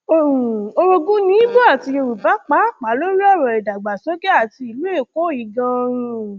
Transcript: um orogun ní ibo àti yorùbá pàápàá lórí ọrọ ìdàgbàsókè àti ìlú èkó yìí ganan um